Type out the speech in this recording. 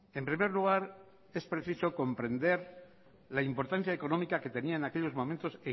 en primer lugar es preciso comprender la importancia económica que tenía en aquellos momentos